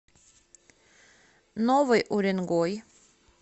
новый уренгой